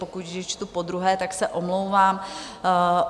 Pokud je čtu podruhé, tak se omlouvám.